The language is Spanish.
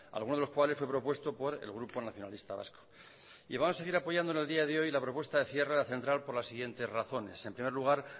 algunos de los cuales fue propuesto por el grupo nacionalista vasco y va a seguir apoyando en el día de hoy la propuesta de cierre de la central por las siguientes razones en primer lugar